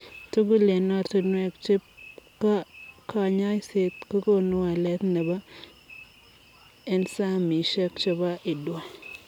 Tugul eng ortinwee chep kanyoiset kokonuu waleet nepoo ensaemisiek chepo IDUA